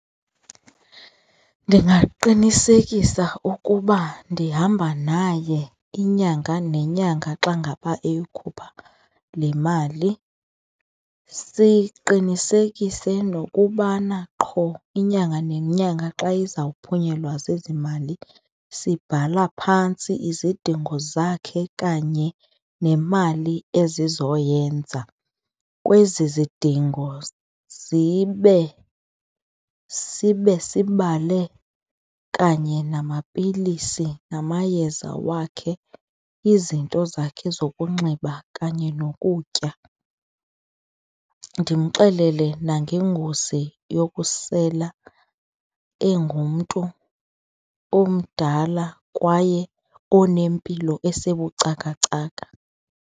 Ndingaqinisekisa ukuba ndihamba naye inyanga nenyanga xa ngaba eyokhupha le mali. Siqinisekise nokubana qho inyanga nenyanga xa ezawuphunyelwa zezimali sibhala phantsi izidingo zakhe kanye nemali ezizoyenza. Kwezi zidingo zibe, sibe sibale kanye namapilisi namayeza wakhe, izinto zakhe zokunxiba kanye nokutya. Ndimxelele nangengozi yokusela engumntu omdala kwaye onempilo esebucakacaka.